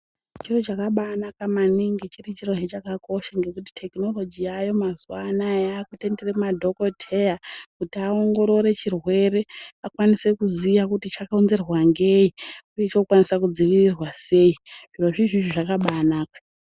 Chiro chakabaa naka maningi chiri chirohe chakakosha ngokuti tekinoroji yaayo mazuwa anya yakutenderw madhokoteya kuti aongorore chirwere akwanise kuziya kuti chakonzerwa ngei uye chinokwanise kudziirirwa sei zviro zvizvi zvakabaanaka.